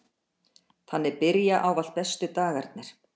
Þannig byrja ávallt bestu dagarnir.